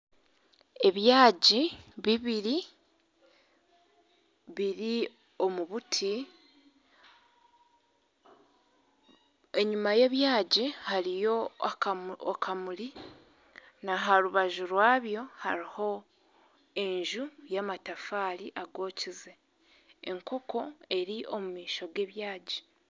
Ebyagi bibiri biri omu buti, enyima y'ebyagi hariyo akamuri na aha rubaju rwabyo hariho enju y'amatafaari agokize, enkooko eri omu maisho g'ebyagi